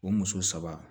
O muso saba